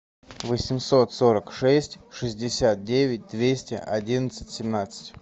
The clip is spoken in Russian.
восемьсот сорок шесть шестьдесят девять двести одиннадцать семнадцать